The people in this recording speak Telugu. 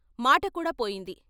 మాటకూడా పోయింది.